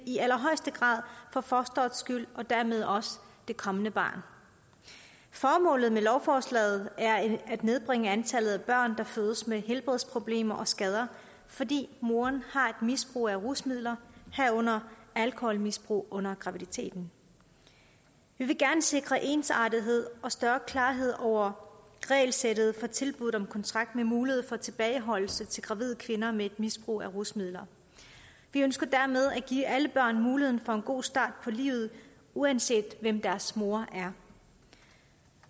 i allerhøjeste grad for fostrets skyld og dermed også det kommende barn formålet med lovforslaget er at nedbringe antallet af børn der fødes med helbredsproblemer og skader fordi moren har et misbrug af rusmidler herunder alkoholmisbrug under graviditeten vi vil gerne sikre ensartethed og større klarhed over regelsættet for tilbuddet om kontrakt med mulighed for tilbageholdelse til gravide kvinder med et misbrug af rusmidler vi ønsker dermed at give alle børn muligheden for en god start på livet uanset hvem deres mor er